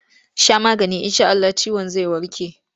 Sha maganin in sha Allah ciwon cikin zai warke!